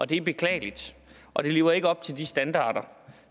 det er beklageligt og det lever ikke op til de standarder